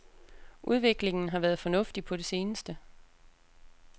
Udviklingen har været fornuftig på det seneste.